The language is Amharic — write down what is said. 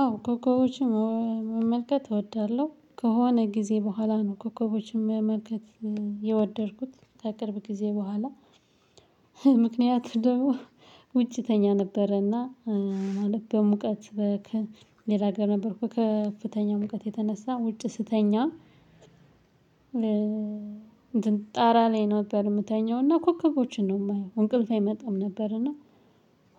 አዎ ኮከቦችን መመልከት እወዳለሁ ከሆነ ጊዜ በኋላ ነው ኮከቦችን መመልከት የወደድኩት ከቅርብ ጊዜ በኋላ። ምክንያቱም ደግሞ ውጭ ተኛ ነበረና ማለት በሙቀት ከ ሌላ ጋር ነበርኩ ከፍተኛ ሙቀት የተነሳ ውጭ ስተኛ። ጣራ ላይ ነበር የምተኛው እና ኮከቦችን ነው የማየው እንቅልፍ አይመጣም ነበርና።